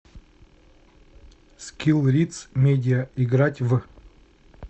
скилл риц медиа играть в